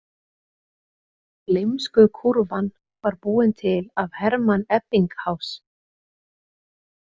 Gleymskukúrfan var búin til af Hermann Ebbinghás.